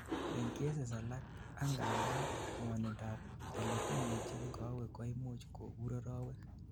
en cases alak, angandan, ngwonindap eletuyechin kowek koimuch kobur arowek